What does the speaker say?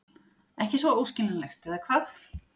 Ekki svo óskiljanlegt, eða hvað?